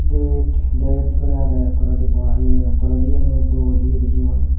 et det guri agey toledi buwa ye toledi yeno dol ye bijeyon.